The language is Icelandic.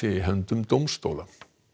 í höndum dómstóla